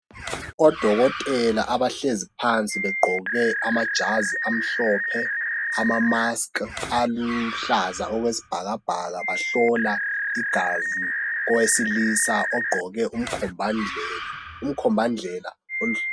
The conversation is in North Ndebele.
Odokotela abahlezi phansi begqoke amajazi amhlophe ama maski aluhlaza okwesibhakabhaka bahlola igazi owesilisa ogqoke umkhombandlela.